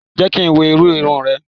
Jẹ́ kí n wo irú irun rẹ